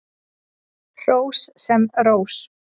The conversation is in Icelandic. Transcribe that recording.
Hrós sem rós.